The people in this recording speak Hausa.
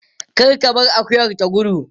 Kar ka bar akuyar ta gudu.